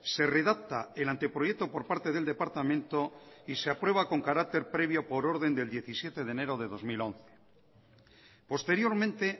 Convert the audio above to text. se redacta el anteproyecto por parte del departamento y se aprueba con carácter previo por orden del diecisiete de enero de dos mil once posteriormente